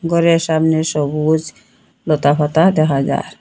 ঘরের সামনে সবুজ লতাপাতা দেখা যার।